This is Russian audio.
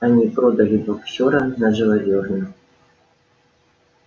они продали боксёра на живодёрню